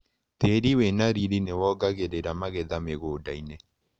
Tĩri wĩna riri nĩwongagĩrita magetha mĩgũndainĩ.